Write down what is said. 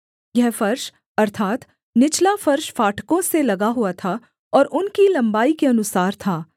यह फर्श अर्थात् निचला फर्श फाटकों से लगा हुआ था और उनकी लम्बाई के अनुसार था